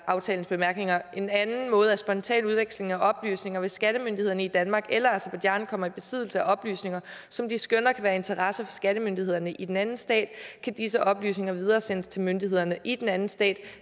aftalens bemærkninger en anden måde er spontan udveksling af oplysninger hvis skattemyndighederne i danmark eller aserbajdsjan kommer i besiddelse af oplysninger som de skønne kan være af interesse for skattemyndighederne i den anden stat kan disse oplysninger videresendes til myndighederne i den anden stat